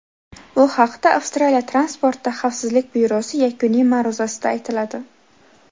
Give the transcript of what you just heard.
Bu haqda Avstraliya transportda xavfsizlik byurosi yakuniy ma’ruzasida aytiladi.